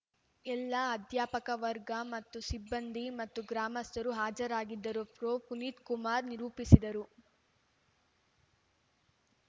ಎಲ್ಲ ಅಧ್ಯಾಪಕ ವರ್ಗ ಮತ್ತು ಸಿಬ್ಬಂದಿ ಮತ್ತು ಗ್ರಾಮಸ್ಥರು ಹಾಜರಿದ್ದರು ಪ್ರೊ ಪುನೀತ್‌ಕುಮಾರ್‌ ನಿರೂಪಿಸಿದರು